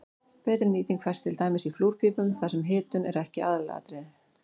betri nýting fæst til dæmis í flúrpípum þar sem hitun er ekki aðalatriðið